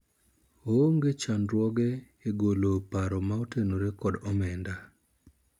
oonge chandruoge e golo paro ma otenore kod omenda